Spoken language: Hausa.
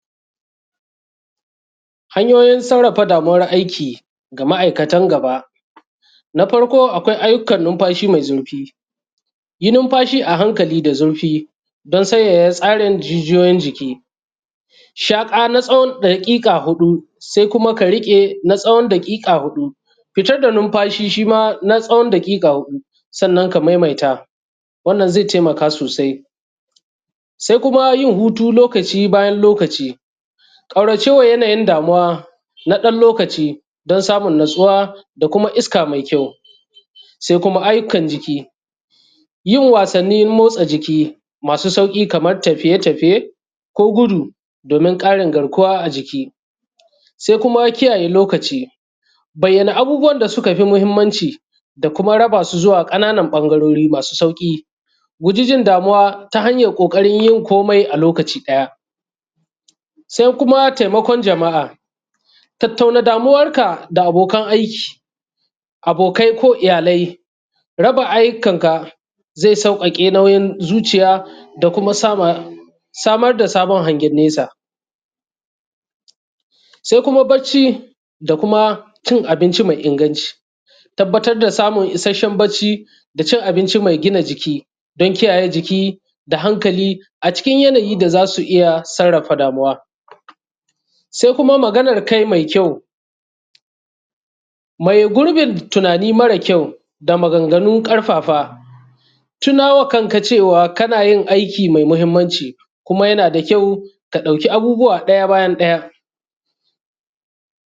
Hanyoyin sarrafa damuwar aiki ga ma'aikatan gaba. Na farko akwai ayyukan numfashi mai zurfi, yi numfashi a hankali da zurfi, don sanyaya tsarin jijiyoyin jiki. Shaƙa na tsawon daƙiƙa huɗu, sai kuma ka riƙe na tsawon daƙiƙa huɗu, fitar da numfashi shi ma na tsawon daƙiƙa huɗu, sannan ka maimaita, wannan zai taimaka sosai. Sai kuma yin hutu lokaci bayan lokaci, ƙauracewa yanayin damuwa na ɗan lokaci don samun natsuwa da kuma iska mai kyau. Sai kuma ayyukan jiki, yin wasannin motsa jiki masu sauƙi, kamar tafiye-tafiye ko gudu domin ƙarin garkuwa a jiki. Sai kuma kiyaye lokaci, bayyana abubuwan da suka fi muhimmanci da kuma raba su zuwa ƙananan ɓangarori masu sauƙi, guji jin damuwa ta hanyar ƙoƙarin yin komi a lokaci ɗaya. Sai kuma taimakon jama'a, tattauna damuwarka da abokan aiki, abokai ko iyalai, raba ayyukanka zai sauƙaƙe nauyin zuciya da kuma samar da sabon hangen nesa. Sai kuma bacci, da kuma cin abinci mai inganci, tabbatar da samun isasshen bacci da cin abinci mai gina jiki, don kiyaye jiki da hankali a cikin yanayi da za su iya sarrafa damuwa. Sai kuma maganar kai mai kyau. Maye gurbin tunani mara kyau da maganganu ƙarfafa, tuna wa kanka cewa kana yin aiki mai muhimmanci, kuma yana da kyau ka ɗauki abubuwa ɗaya bayan ɗaya.